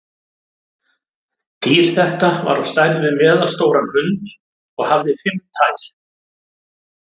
Dýr þetta var á stærð við meðalstóran hund og hafði fimm tær.